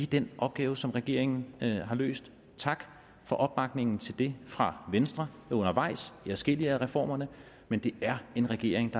den opgave som regeringen har løst tak for opbakningen til det fra venstre undervejs i adskillige af reformerne men det er en regering